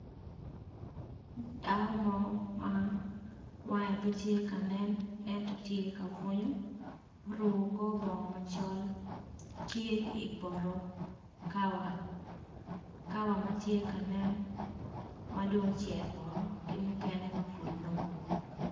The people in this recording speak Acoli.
Dako mo ma wange pe tye ka nen ento tye ka bunyo, oruko kor bongo macol tye i poto kawa, kawa ma tye ka nen madong ocek woko ki mukene ma pud numu.